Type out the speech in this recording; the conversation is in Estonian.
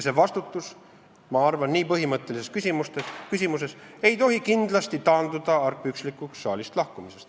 See vastutus, ma arvan, ei tohi nii põhimõttelises küsimuses kindlasti taanduda argpükslikuks saalist lahkumiseks.